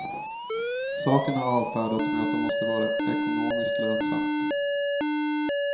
Saken har avfärdats med att det måste vara ekonomiskt lönsamt.